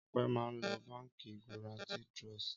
Ọpẹ́ máa ń lo Báńkì Guaranty Trust.